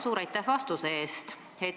Suur aitäh vastuse eest!